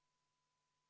Palun kohaloleku kontroll!